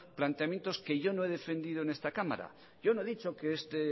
planteamiento que yo no he defendido en esta cámara yo no he dicho que este